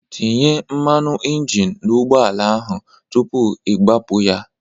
Tinye mmanụ injin n'ụgbọ ala ahụ tupu ị gbapụ ya!